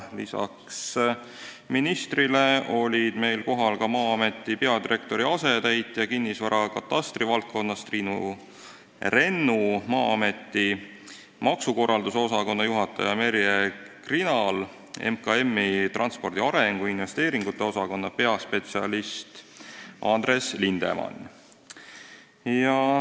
Lisaks ministrile olid kohal Maa-ameti peadirektori asetäitja kinnisvarakatastri valdkonnas Triinu Rennu, Maa-ameti maakorralduse osakonna juhataja Merje Krinal ning MKM-i transpordi arengu ja investeeringute osakonna peaspetsialist Andres Lindemann.